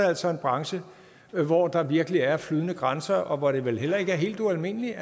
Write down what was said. altså en branche hvor der virkelig er flydende grænser og hvor det vel heller ikke er helt ualmindeligt